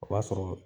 O b'a sɔrɔ